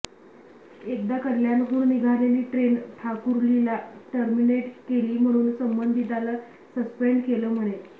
एकदा कल्याणहून निघालेली ट्रेन ठाकुर्लीला टर्मिनेट केली म्हणून संबंधिताला सस्पेंड केलं म्हणे